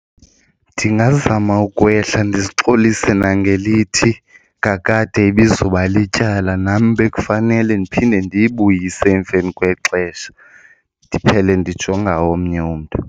Ndingazama ukwehla ndizixolise nangelithi kakade ibizoba lityala nam bekufanele ndiphinde ndiyibuyise emveni kwexesha ndiphele ndijonga omnye umntu.